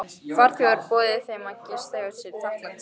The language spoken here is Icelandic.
Friðþjófur boðið þeim að gista hjá sér í þakklætisskyni.